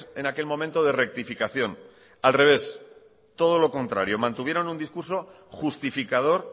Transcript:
en aquel momento de rectificación al revés todo lo contrario mantuvieron un discurso justificador